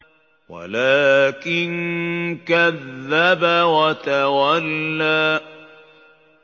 وَلَٰكِن كَذَّبَ وَتَوَلَّىٰ